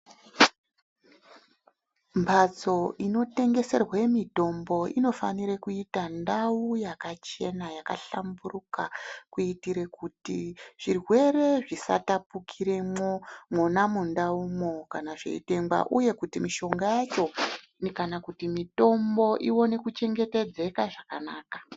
Mbatso inotengeserwe mitombo inofanire kuita ndau yakachena yakahlamburuka kuitire kuti zvirwere zvisatapukiremwo mwona mundaumwo kana zveitengwa uye kuti mishonga yacho kana kuti mitombo ione kuchengetedzeka zvakanaka.